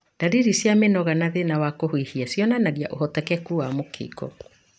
Ndaririri cia mĩnoga na thĩna wa kũhuhia cionanagia ũhotekeku wa mũkingo.